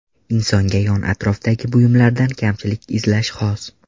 Insonga yon-atrofdagi buyumlardan kamchilik izlash xos.